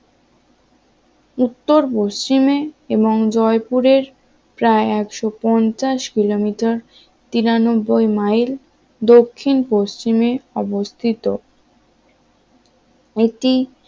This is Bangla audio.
উত্তর পশ্চিমে এবং জয়পুরের প্রায়একশো পঞ্চাশ কিলোমিটার তিরানব্বই মাইল দক্ষিণ-পশ্চিমে অবস্থিত একটি